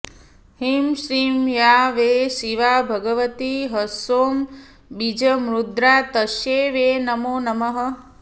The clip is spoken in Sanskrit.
ह्रीं श्रीं या वै शिवा भगवती हसौं बीजमुद्रा तस्यै वै नमो नमः